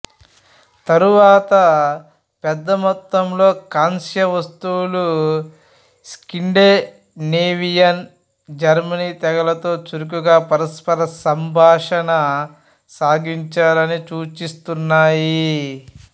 తరువాత పెద్ద మొత్తంలో కాంస్య వస్తువులు స్కాండినేవియన్ జర్మనీ తెగలతో చురుకుగా పరస్పర సంభాషణ సాగించారని సూచిస్తున్నాయి